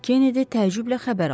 Kennedy təəccüblə xəbər aldı.